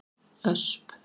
Ösp